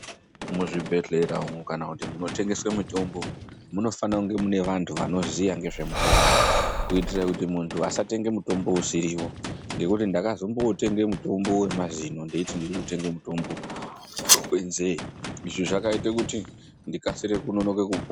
Muzvibhedhlera umu kana kuti munotengeswe mitombo, munofana kunge mune vantu vanoziya ngezvemutombo, kuitire kuti muntu asatenge mutombo usiriwo, Ngekuti ndakazombootenge mutombo wemazino ndeyiti ndiri kutenge mutombo wenzee. Izvi zvakaite kuti ndikasire kunonoke kupo..